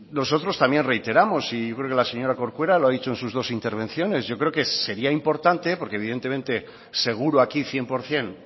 nosotros también reiteramos y yo creo que la señora corcuera lo ha dicho en sus dos intervenciones yo creo que sería importante porque evidentemente seguro aquí cien por ciento